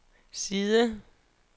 side